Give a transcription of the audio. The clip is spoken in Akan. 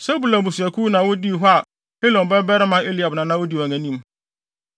Sebulon abusuakuw na wodii hɔ a Helon babarima Eliab na na odi wɔn anim.